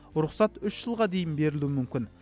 рұқсат үш жылға дейін берілуі мүмкін